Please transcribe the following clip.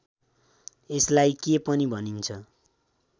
यसलाई के पनि भनिन्छ